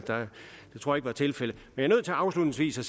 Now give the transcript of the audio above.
tror ikke det var tilfældet jeg er nødt til afslutningsvis at